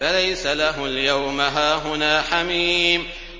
فَلَيْسَ لَهُ الْيَوْمَ هَاهُنَا حَمِيمٌ